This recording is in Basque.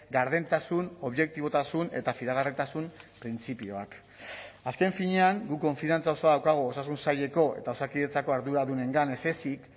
gardentasun objektibotasun eta fidagarritasun printzipioak azken finean guk konfiantza osoa daukagu osasun saileko eta osakidetzako arduradunengan ez ezik